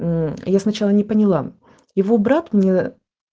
мм я сначала не поняла его брат мне